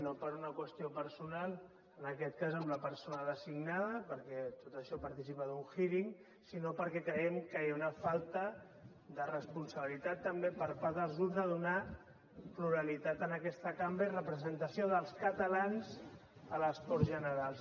no per una qüestió personal en aquest cas amb la persona designada perquè tot això participa d’un hearing sinó perquè creiem que hi ha una falta de responsabilitat també per part dels grups de donar pluralitat a aquesta cambra i representació dels catalans a les corts generals